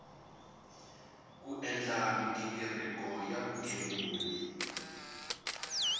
ku endla mighingiriko ya vugembuli